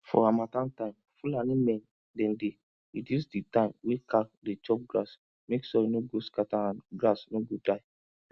for harmattan time fulani men dem dey reduce di time wey cow dey chop grass mek soil no go scatter and grass no go die